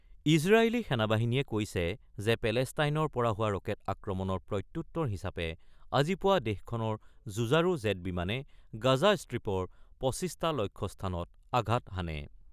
ইজৰাইলী সেনাবাহিনীয়ে কৈছে যে, পেলেষ্টাইনৰ পৰা হোৱা ৰকেট আক্ৰমণৰ প্ৰত্যুত্তৰ হিচাপে আজি পুৱা দেশখনৰ যুঁজাৰু জেট বিমানে গাজা ষ্ট্ৰীপৰ ২৫ টা লক্ষ্যস্থানত আঘাত হানে।